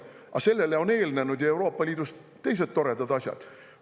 Aga sellele on eelnenud ju Euroopa Liidus teised toredad asjad.